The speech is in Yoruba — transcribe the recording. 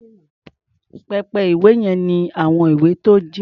Pẹpẹ-ìwé yẹn ní àwọn ìwé tó jinlẹ̀.